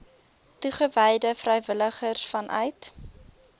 toegewyde vrywilligers vanuit